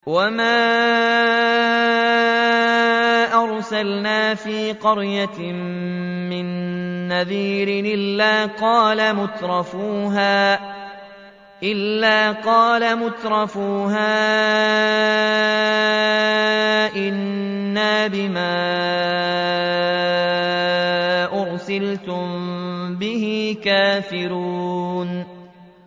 وَمَا أَرْسَلْنَا فِي قَرْيَةٍ مِّن نَّذِيرٍ إِلَّا قَالَ مُتْرَفُوهَا إِنَّا بِمَا أُرْسِلْتُم بِهِ كَافِرُونَ